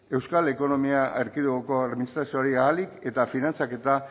euskal ekonomia erkidegoko administrazioari ahalik eta finantzaketa